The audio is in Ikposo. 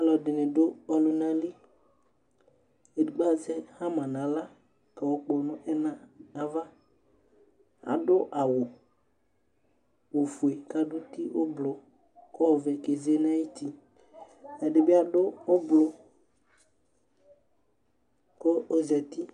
ɔlɔdini du ɔlunali edigbo azɛ hama nu aɣla kɔkpɔ ɛna nu ava adu awu ofue ɛdibi adu ublu ku ɔzati